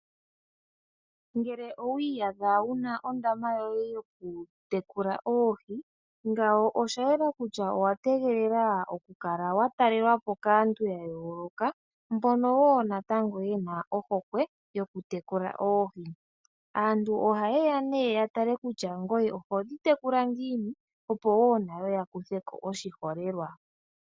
Ngele owi iyadha wu na ondama yoku tekula oohi, nena owa tegelela oku talelwapo kaantu ya yoolokathana mbono woo nayo ye na ohokwe yoku tekula oohi .Aantu oha yeya nee ya tale kutya ngoye ohodhi tekula ngiini opo woo nayo ya kutheko oshiholelwa.